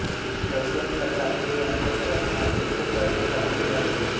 Russian सरकारने याच्या संरक्षणाचे मोठे प्रयत्न चालू केले आहेत